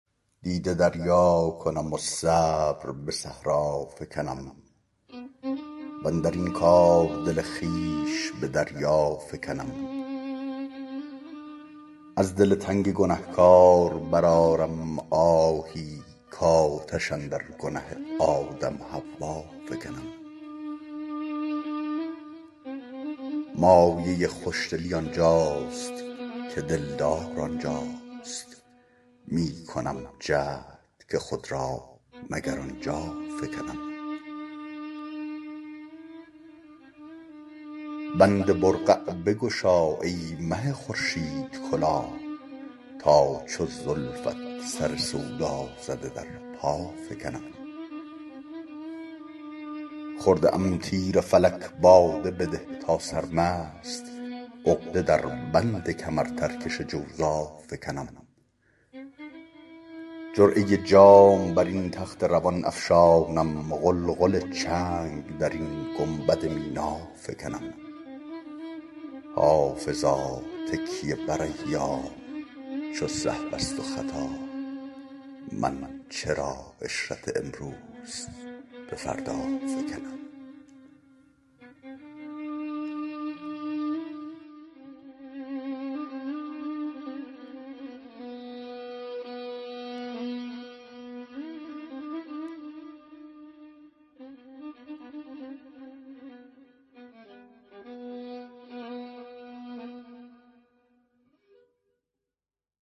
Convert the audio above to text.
دیده دریا کنم و صبر به صحرا فکنم واندر این کار دل خویش به دریا فکنم از دل تنگ گنه کار برآرم آهی کآتش اندر گنه آدم و حوا فکنم مایه خوش دلی آن جاست که دل دار آن جاست می کنم جهد که خود را مگر آن جا فکنم بگشا بند قبا ای مه خورشیدکلاه تا چو زلفت سر سودا زده در پا فکنم خورده ام تیر فلک باده بده تا سرمست عقده در بند کمرترکش جوزا فکنم جرعه جام بر این تخت روان افشانم غلغل چنگ در این گنبد مینا فکنم حافظا تکیه بر ایام چو سهو است و خطا من چرا عشرت امروز به فردا فکنم